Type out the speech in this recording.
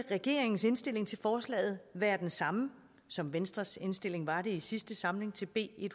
regeringens indstilling til forslaget være den samme som venstres indstilling var det i sidste samling til b en